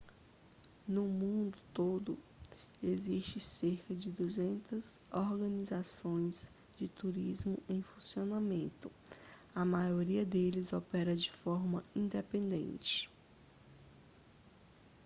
no mundo todo existem cerca de 200 organizações de turismo em funcionamento a maioria deles opera de forma independente